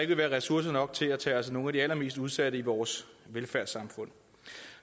vil være ressourcer nok til at tage os af nogle af de allermest udsatte i vores velfærdssamfund